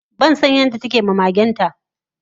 bansan yadda takema magenta